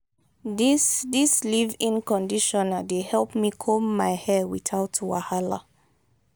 dis dis leave-in conditioner dey help me comb my hair witout wahala.